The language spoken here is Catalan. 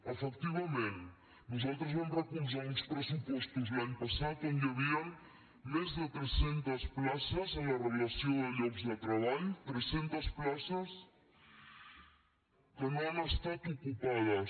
efectivament nos·altres vam recolzar uns pressupostos l’any passat on hi havien més de tres·centes places en la relació de llocs de treball tres·centes places que no han estat ocupades